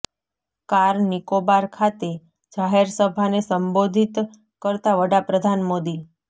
car Nicobar ખાતે જાહેર સભાને સંબોધિત કરતા વડા પ્રધાન મોદી